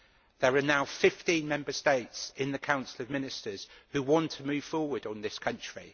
There are now 15 Member States in the Council of Ministers who want to move forward on this country.